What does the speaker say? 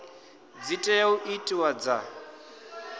dzi tea u itiwa dza